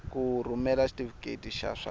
ku rhumela xitifiketi xa swa